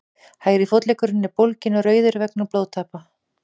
hægri fótleggurinn er bólginn og rauður vegna blóðtappa